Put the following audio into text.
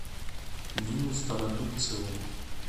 нину стародубцеву